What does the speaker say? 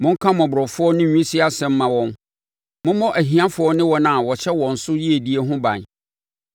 Monka mmɔborɔfoɔ ne nwisiaa asɛm mma wɔn; mommɔ ahiafoɔ ne wɔn a wɔhyɛ wɔn so yiedie ho ban.